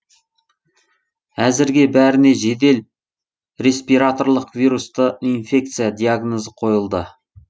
әзірге бәріне жедел респираторлық вирусты инфекция диагнозы қойылды